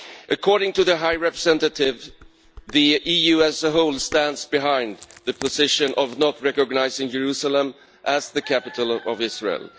According to the High Representative, the EU as a whole stands behind the position of not recognising Jerusalem as the capital of Israel.